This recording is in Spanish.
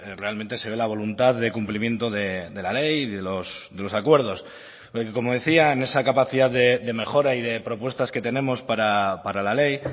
realmente se ve la voluntad de cumplimiento de la ley de los acuerdos como decía en esa capacidad de mejora y de propuestas que tenemos para la ley